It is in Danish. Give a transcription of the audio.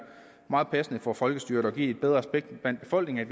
meget passende for folkestyret og give bedre respekt i befolkningen